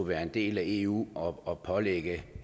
være en del af eu og og pålægge